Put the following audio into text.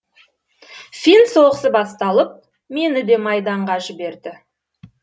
фин соғысы басталып мені де майданға жіберді